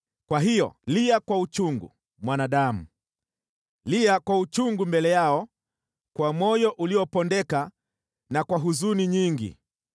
“Kwa hiyo lia kwa uchungu, mwanadamu! Lia kwa uchungu mbele yao kwa moyo uliopondeka na kwa huzuni nyingi.